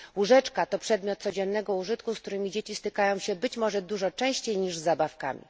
Łóżeczka to przedmiot codziennego użytku, z którym dzieci stykają się być może częściej niż z zabawkami.